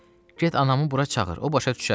Get anamı bura çağır, o başa düşər.